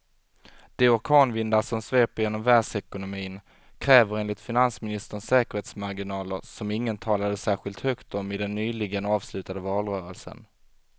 De orkanvindar som sveper genom världsekonomin kräver enligt finansministern säkerhetsmarginaler som ingen talade särskilt högt om i den nyligen avslutade valrörelsen.